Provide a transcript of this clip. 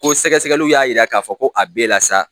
Ko sɛgɛsɛgɛliw y'a jira k'a fɔ ko a bɛ e la sa